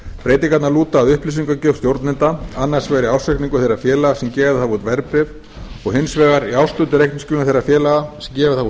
breytingarnar lúta að upplýsingagjöf stjórnenda annars vegar í ársreikningum þeirra félaga legg gefið hafa út verðbréf og hins vegar í árshlutareikningsskilum þeirra félaga sem gefið hafa út